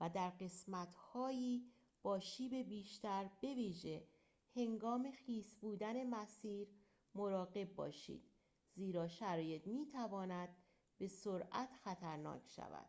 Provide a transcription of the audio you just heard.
و در قسمت های با شیب بیشتر به ویژه هنگام خیس بودن مسیر مراقب باشید زیرا شرایط می تواند به سرعت خطرناک شود